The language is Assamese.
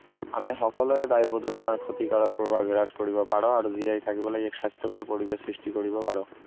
আমি সকলোৱে বায়ু প্ৰদূষণৰ ক্ষতিকাৰক প্ৰভাৱ হ্ৰাস কৰিব পাৰো আৰু জীয়াই থাকিবলৈ এক স্বাস্থ্যকৰ পৰিবেশৰ সৃষ্টি কৰিব পাৰোঁ